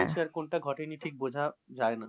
ঘটেছে আর কোনটা ঘটেনি ঠিক বোঝা যায় না।